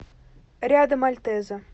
рядом альтеза